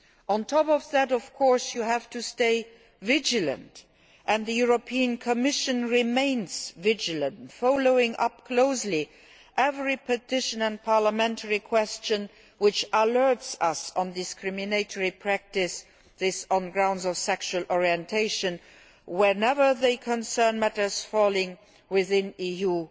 On top of that, of course, you have to stay vigilant, and the Commission remains vigilant, following up closely every petition and parliamentary question that alerts us to discriminatory practices on grounds of sexual orientation, whenever they concern matters falling within EU